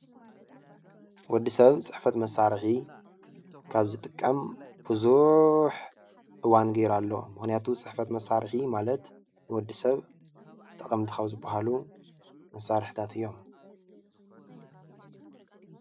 ወዲሰብ ፅሕፈት መሳርሒ ካብ ዝጥቀም ብዙሕ እዋን ጌሩ ኣሎ ምክንያቱ ፅሕፈት መሳርሒ ማለት ንወዲሰብ ጠቐምቲ ካብ ዝበሃሉ መሳርሕታት እዮም።